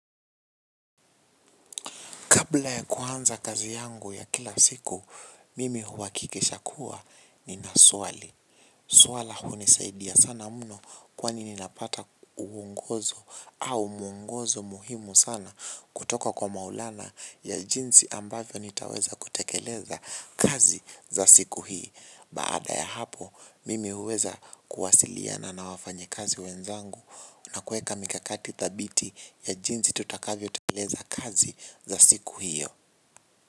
Kabla ya kuanza kazi yangu ya kila siku, mimi huhakikisha kuwa nina swali. Swala hunisaidia sana mno kwa nini napata uwongozo au mwongozo muhimu sana kutoka kwa maulana ya jinsi ambavyo nitaweza kutekeleza kazi za siku hii. Baada ya hapo, mimi huweza kuwasiliana na wafanyi kazi wenzangu na kuweka mikakati thabiti ya jinsi tutakavyo tengeneza kazi za siku hiyo.